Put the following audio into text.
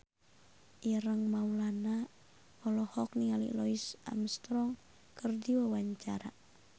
Ireng Maulana olohok ningali Louis Armstrong keur diwawancara